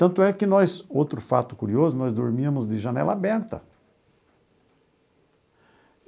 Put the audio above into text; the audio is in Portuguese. Tanto é que nós, outro fato curioso, nós dormíamos de janela aberta.